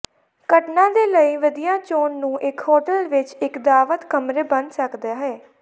ਘਟਨਾ ਦੇ ਲਈ ਵਧੀਆ ਚੋਣ ਨੂੰ ਇੱਕ ਹੋਟਲ ਵਿੱਚ ਇੱਕ ਦਾਅਵਤ ਕਮਰੇ ਬਣ ਸਕਦਾ ਹੈ